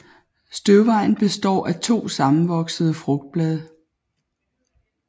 Støvvejen besår af to sammenvoksede frugtblade